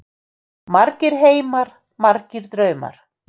Margir heimar, margir draumar.